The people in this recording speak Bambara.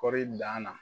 Kɔɔri danna